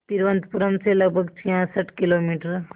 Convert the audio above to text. तिरुवनंतपुरम से लगभग छियासठ किलोमीटर